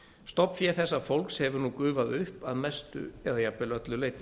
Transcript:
stofnfé þessa fólks hefur nú gufað upp að mestu eða jafnvel öllu leyti